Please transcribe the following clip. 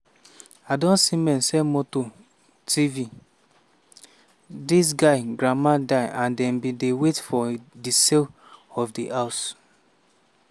"i don see men sell motor tv dis guy grandma die and dem bin dey wait for for di sale of di house.